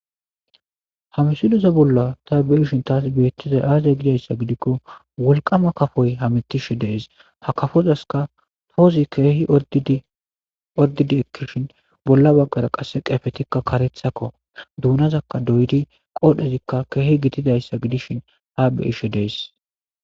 hamisileza bolla ta beishin taas beettizay aazay gidayssa gidikko wolqama kafoy hamitishe dees ha kafozaska toozi keehi ordidi ekkishin bolla baggara qasse qeefetikka karethakko duunazakka doydi qoodhezikka keehi gitidayssa gidishin ha beyishe dees